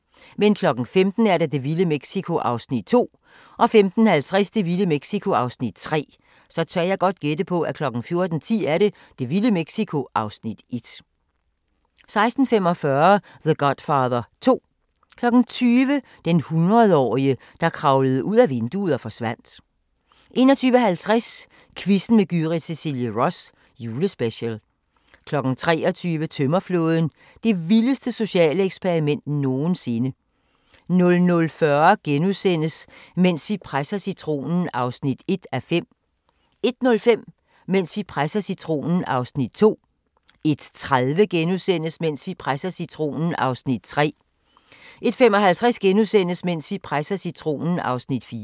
15:00: Det vilde Mexico (2:3) 15:50: Det vilde Mexico (3:3) 16:45: The Godfather 2 20:00: Den hundredårige, der kravlede ud ad vinduet og forsvandt 21:50: Quizzen med Gyrith Cecilie Ross - julespecial 23:00: Tømmerflåden – det vildeste sociale eksperiment nogensinde 00:40: Mens vi presser citronen (1:5)* 01:05: Mens vi presser citronen (2:5)* 01:30: Mens vi presser citronen (3:5)* 01:55: Mens vi presser citronen (4:5)*